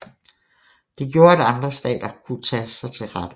Det gjorde at andre stater kunne tage sig til rette